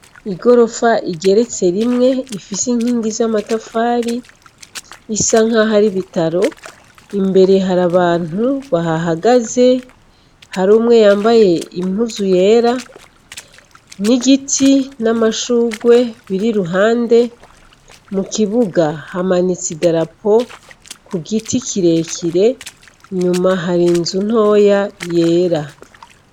Igorofa igeretse rimwe ifise inkingi zamatafari bisa nkaho ari ibitaro imbere hari abantu bahahagaze harumwe yambaye impuzu yera n'igiti n'amashurwe biri iruhande mu kibuga hamanitse idarapo ku giti kirekire inyuma hari nzu ntoya yera.